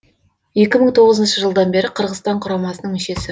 екі мың тоғызыншы жылдан бері қырғызстан құрамасының мүшесі